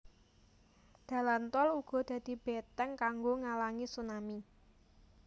Dalan tol uga dadi beteng kanggo ngalangi tsunami